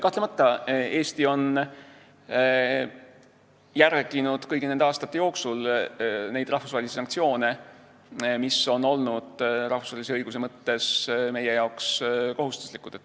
Kahtlemata on Eesti järginud kõigi nende aastate jooksul neid rahvusvahelisi sanktsioone, mis on rahvusvahelise õiguse mõttes olnud meie jaoks kohustuslikud.